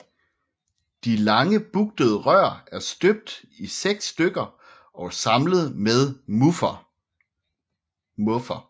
De lange bugtede rør er støbt i seks stykker og samlet med muffer